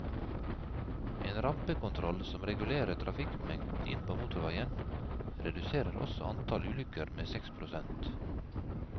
En rampekontroll som regulerer trafikkmengden inn på motorveien, reduserer også antallet ulykker med seks prosent.